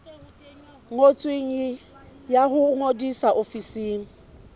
ngotsweng ya ho ngodisa ofising